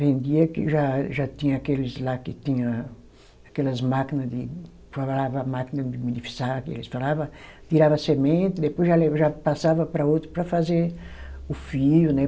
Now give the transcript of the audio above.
Vendia, que já já tinha aqueles lá que tinha aquelas máquinas de, falava máquina de, eles falava, tirava a semente, depois já le, já passava para outro para fazer o fio, né?